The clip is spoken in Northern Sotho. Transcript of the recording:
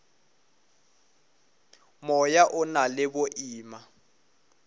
moya o na le boima